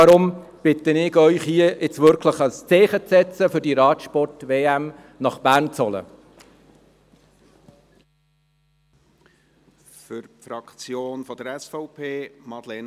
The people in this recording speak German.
Deshalb bitte ich Sie, hier nun wirklich ein Zeichen zu setzen, um diese Radsport-WM nach Bern zu holen.